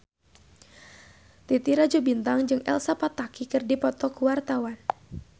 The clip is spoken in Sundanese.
Titi Rajo Bintang jeung Elsa Pataky keur dipoto ku wartawan